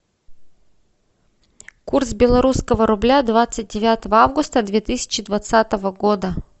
курс белорусского рубля двадцать девятого августа две тысячи двадцатого года